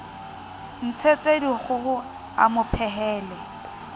ntshetse dikgoho a mo phehele